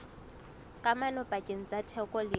kamano pakeng tsa theko le